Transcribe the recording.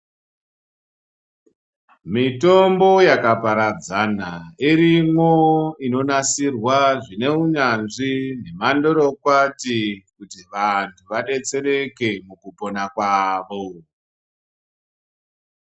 Mitombo yakaparadzana irimwo inonasirwa zvineunyanzvi zvemandorokwati kuti vanthu vadetsereke mukupona kwavo.